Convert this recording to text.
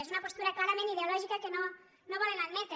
és una postura clarament ideològica que no volen admetre